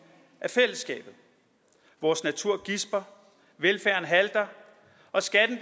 af fællesskabet vores natur gisper velfærden halter og skatten